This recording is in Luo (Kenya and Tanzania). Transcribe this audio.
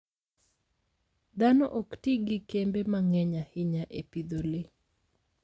Dhano ok ti gi kembe mang'eny ahinya e pidho le.